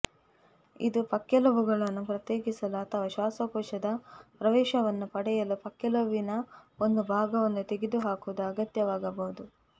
ಇದು ಪಕ್ಕೆಲುಬುಗಳನ್ನು ಪ್ರತ್ಯೇಕಿಸಲು ಅಥವಾ ಶ್ವಾಸಕೋಶದ ಪ್ರವೇಶವನ್ನು ಪಡೆಯಲು ಪಕ್ಕೆಲುಬಿನ ಒಂದು ಭಾಗವನ್ನು ತೆಗೆದುಹಾಕುವುದು ಅಗತ್ಯವಾಗಬಹುದು